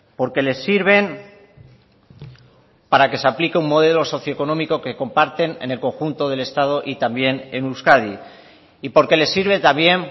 porque les sirven para que se aplique un modelo socioeconómico que comparten en el conjunto del estado y también en euskadi y porque les sirve también